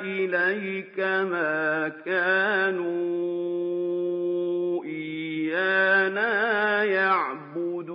إِلَيْكَ ۖ مَا كَانُوا إِيَّانَا يَعْبُدُونَ